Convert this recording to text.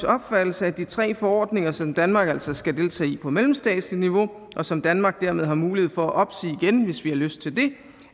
opfattelse at de tre forordninger som danmark altså skal deltage i på mellemstatsligt niveau og som danmark dermed har mulighed for at opsige igen hvis vi har lyst til det